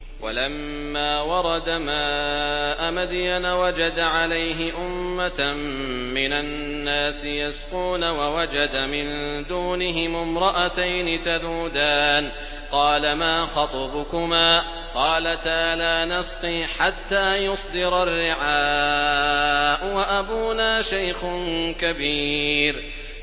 وَلَمَّا وَرَدَ مَاءَ مَدْيَنَ وَجَدَ عَلَيْهِ أُمَّةً مِّنَ النَّاسِ يَسْقُونَ وَوَجَدَ مِن دُونِهِمُ امْرَأَتَيْنِ تَذُودَانِ ۖ قَالَ مَا خَطْبُكُمَا ۖ قَالَتَا لَا نَسْقِي حَتَّىٰ يُصْدِرَ الرِّعَاءُ ۖ وَأَبُونَا شَيْخٌ كَبِيرٌ